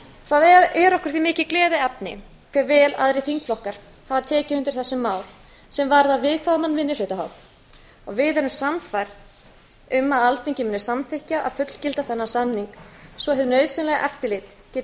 það er okkur því mikið gleðiefni hve vel aðrir þingflokkar hafa tekið undir þessi mál sem varða viðkvæman minnihlutahóp og við erum sannfærð um að alþingi muni samþykkja að fullgilda þennan samning svo hið nauðsynlega eftirlit geti